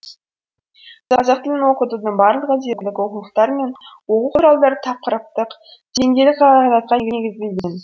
қазақ тілін оқытудың барлығы дерлік оқулықтар мен оқу құралдары тақырыптық деңгейлік қағидатқа негізделген